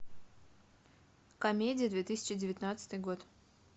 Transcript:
комедии две тысячи девятнадцатый год